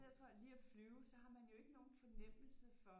Stedet for lige at flyve så har man jo ikke nogen fornemmelse for